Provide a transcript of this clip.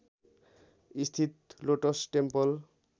स्थित lotus temple